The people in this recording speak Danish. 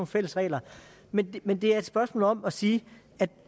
fælles regler men men det er et spørgsmål om at sige